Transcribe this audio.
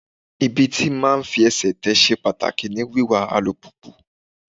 Ibi tí máa fi ẹsẹ̀ tè ṣe pàtàkì ní wiwa alùpùpù.